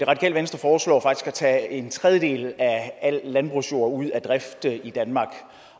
tage en tredjedel af al landbrugsjord ud af drift i danmark